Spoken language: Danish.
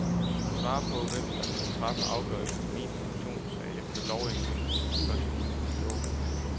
Kan du svare på, hvem der skal træffe afgørelse i min pensionssag efter lovændringerne fra første juli i år?